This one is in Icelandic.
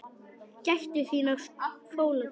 Gættu þín á fóla þessum.